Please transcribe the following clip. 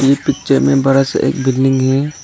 ये पिक्चर में बड़ा सा एक बिल्डिंग है।